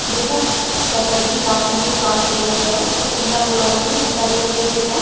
यह शहरी प्राथमिक स्वास्थ्य केंद्र है जो इंदिरा कॉलोनी में बीकानेर में स्थित है।